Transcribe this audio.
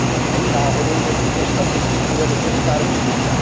Není náhodou, že tuto statistiku vede Česká republika.